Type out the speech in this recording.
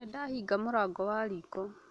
Nĩ ndahinga mũrango wa riko